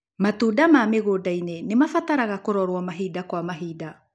Matunda ma mĩgũndainĩ nĩmabataraga kũrorwo mahinda kwa mahinda.